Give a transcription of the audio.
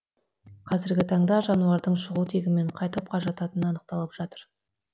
қазіргі таңда жануардың шығу тегі мен қай топқа жататыны анықталып жатыр